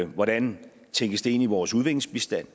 hvordan tænkes det ind i vores udviklingsbistand